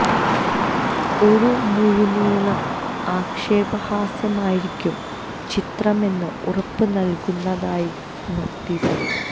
ഒരു മുഴുനീള ആക്ഷേപഹാസ്യം ആയിരിക്കും ചിത്രം എന്ന് ഉറപ്പ് നല്കുന്നതായിരുന്നു ടീസര്